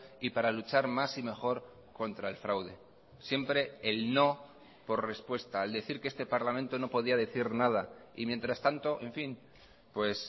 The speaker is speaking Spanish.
y para luchar más y mejor contra el fraude siempre el no por respuesta al decir que este parlamento no podía decir nada y mientras tanto en fin pues